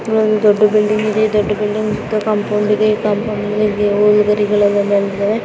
ಒಂದು ದೊಡ್ಡ ಬಿಲ್ಡಿಂಗ್ ಇದೆ ದೊಡ್ಡ ಬಿಲ್ಡಿಂಗ್ ದ ಕಾಂಪೌಂಡ್ ಇದೆ ಕಾಂಪೌಂಡ್ ಮೇಲೆ .